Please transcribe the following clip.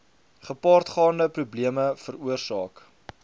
gepaardgaande probleme veroorsaak